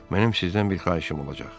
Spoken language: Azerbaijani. Mənim sizdən bir xahişim olacaq.